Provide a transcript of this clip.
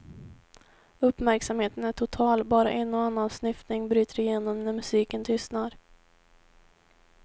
Uppmärksamheten är total, bara en och annan snyftning bryter igenom när musiken tystnar.